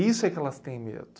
Isso é que elas têm medo.